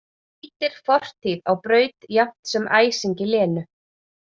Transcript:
Ýtir fortíð á braut jafnt sem æsingi Lenu.